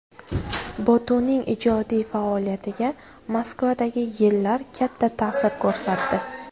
Botuning ijodiy faoliyatiga Moskvadagi yillar katta ta’sir ko‘rsatdi.